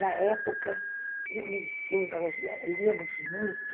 Na época, eu nem sei, nós liamos muito.